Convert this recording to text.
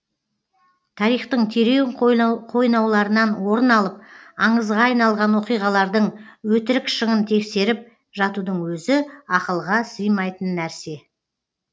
тарихтың терең қойнауларынан орын алып аңызға айналған оқиғалардың өтірік шынын тексеріп жатудың өзі ақылға сыймайтын нәрсе